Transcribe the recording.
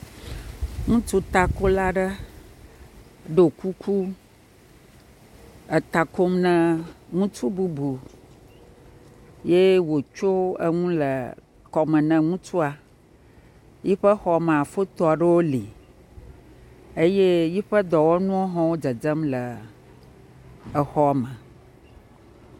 Ŋutsu takola aɖe, ɖo kuku, eta kom ne ŋutsu bubu, ye wòtso eŋu le kɔme ne ŋutsua, yiƒe xɔ mea, fotowo aɖewo le, eye yiƒe dɔwɔnuwo hã le dzedzem le exɔme.